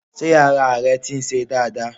Sé ara rẹ ti ń se dáadáa